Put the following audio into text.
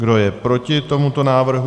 Kdo je proti tomuto návrhu?